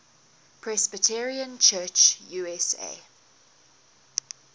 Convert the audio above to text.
presbyterian church usa